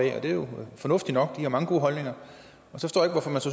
det er jo fornuftigt nok de har mange gode holdninger